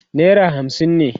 naira hamsin ne